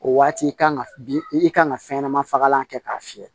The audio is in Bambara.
O waati kan ka bi i kan ka fɛn ɲɛnama fagalan kɛ k'a fiyɛ